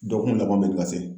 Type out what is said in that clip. Dɔgɔkun laban be